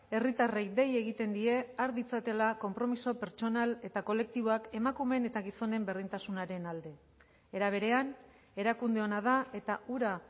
herritarrei dei egiten die har ditzatela konpromiso pertsonal eta kolektiboak emakumeen eta gizonen berdintasunaren alde era berean erakunde ona da eta hura